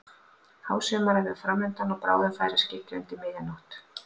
Hásumarið var fram undan og bráðum færi að skyggja undir miðja nótt.